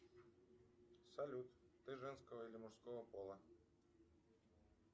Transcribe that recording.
салют ты женского или мужского пола